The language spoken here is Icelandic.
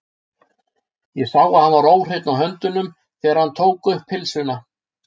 Ég sá að hann var óhreinn á höndunum, þegar hann tók um pylsuna.